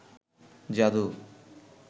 যাদু